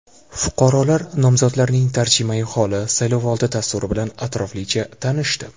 Fuqarolar nomzodlarning tarjimai holi, saylovoldi dasturi bilan atroflicha tanishdi.